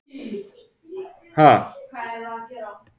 Við munum birta úrslitin síðar í vikunni svo enn er hægt að taka þátt!